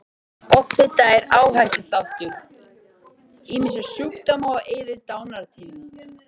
Offita er áhættuþáttur ýmissa sjúkdóma og eykur dánartíðni.